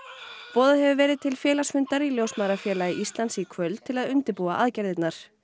boðað hefur verið til félagsfundar í Ljósmæðrafélagi Íslands í kvöld til að undirbúa aðgerðirnar